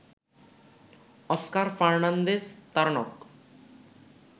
Oscar Fernandez Taranco